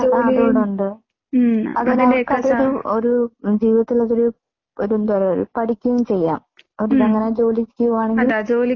ജീവിതത്തിൽ അതൊരു പഠിക്കും ചെയ്യാം. അവർക്കങ്ങനെ ജോലിക്ക് പോവാണെങ്കിൽ